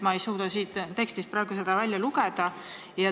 Ma ei suuda siit tekstist praegu seda välja lugeda.